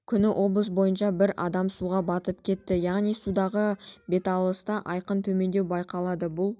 күні облыс бойынша бір адам суға баып кетті яғни судағы беталысында айқын төмендеу байқалады бұл